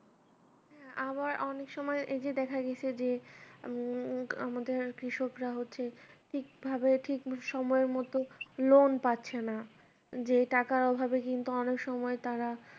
হ্যাঁ আবার অনেক সময় এইযে দেখা গেছে যে উম আমাদের কৃষকরা হচ্ছে ঠিক ভাবে ঠিক সময় মত loan পাচ্ছেনা যে টাকার অভাবে কিন্তু অনেক সময় তারা